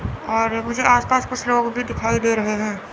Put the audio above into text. और मुझे आसपास कुछ लोग भी दिखाई दे रहे हैं।